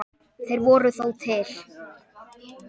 Þeir voru þó til.